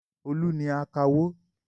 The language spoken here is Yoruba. Olú ni akawó.